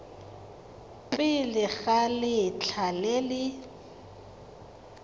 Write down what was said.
pele ga letlha le le